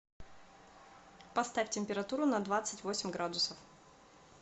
поставь температуру на двадцать восемь градусов